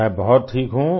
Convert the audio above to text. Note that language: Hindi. मैं बहुत ठीक हूँ